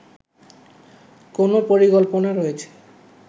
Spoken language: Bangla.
কোনো পরিকল্পনা রয়েছে